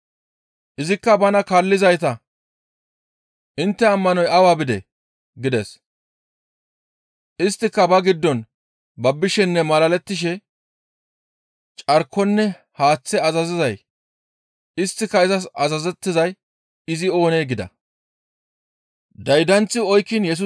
Izikka bana kaallizayta, «Intte ammanoy awa bidee?» gides; isttika ba giddon babbishenne malalettishe, «Carkonne haaththe azazizay; isttika izas azazettizay izi oonee?» gida.